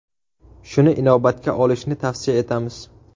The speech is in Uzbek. Shuni inobatga olishni tavsiya etamiz.